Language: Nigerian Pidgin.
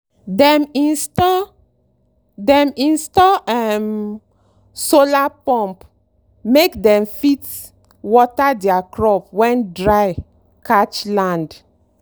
dem install dem install um solar pump make dem fit water their crop when dry catch land.